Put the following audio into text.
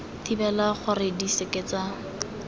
thibela gore di seke tsa